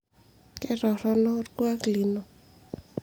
ketorrono olkuak lino